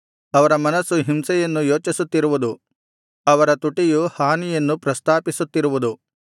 ಅವರ ಮನಸ್ಸು ಹಿಂಸೆಯನ್ನು ಯೋಚಿಸುತ್ತಿರುವುದು ಅವರ ತುಟಿಯು ಹಾನಿಯನ್ನು ಪ್ರಸ್ತಾಪಿಸುತ್ತಿರುವುದು